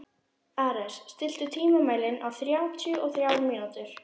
Ares, stilltu tímamælinn á þrjátíu og þrjár mínútur.